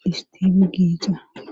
dhistifu giixa